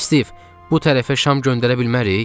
Stiv, bu tərəfə şam göndərə bilmərik?